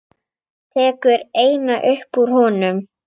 Tekur eina upp úr honum.